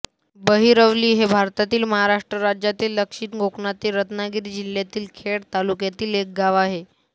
बहिरवली हे भारतातील महाराष्ट्र राज्यातील दक्षिण कोकणातील रत्नागिरी जिल्ह्यातील खेड तालुक्यातील एक गाव आहे